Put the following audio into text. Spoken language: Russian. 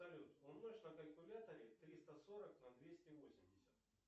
салют умножь на калькуляторе триста сорок на двести восемьдесят